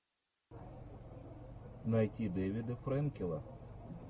найти дэвида фрэнкела